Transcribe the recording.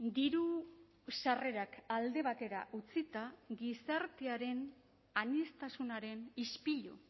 diru sarrerak alde batera utzita gizartearen aniztasunaren ispilu